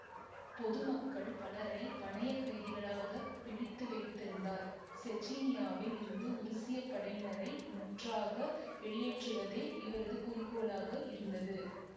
பொதுமக்கள் பலரைப் பணய கைதிகளாகப் பிடித்து வைத்திருந்தார் செச்சினியாவில் இருந்து உருசிய படையினரை முற்றாக வெளியேற்றுவதே இவரது குறிக்கோளாக இருந்தது